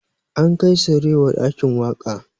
An kai sarewa ɗakin waƙa